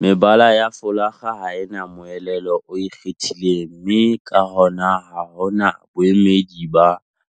Mebala ya folakga ha e na moelelo o ikgethileng mme ka hona ha ho na boemedi ba